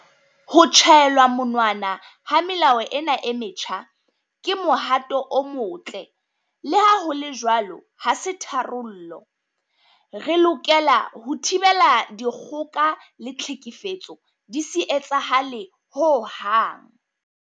Ho tjhaelwa monwana ha melao ena e metjha ke mohato o motle. Leha ho le jwalo ha se tharollo. Re lokela ho thibela dikgoka le tlhekefetso di se etsahale hohang.